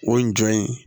O ye jɔn ye